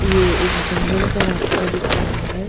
ये एक जंगल का रास्ता दिख रहा है।